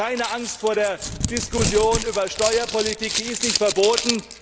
Haben Sie auch keine Angst vor der Diskussion über Steuerpolitik die ist nicht verboten.